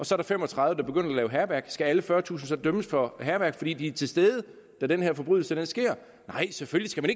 så er fem og tredive der begynder at lave hærværk skal alle fyrretusind så dømmes for hærværk fordi de er til stede da den her forbrydelse sker nej selvfølgelig